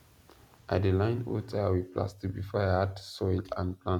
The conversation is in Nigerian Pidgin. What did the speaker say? i dey line old tyre with plastic before i add soil and plant